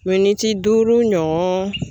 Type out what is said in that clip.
duuru ɲɔ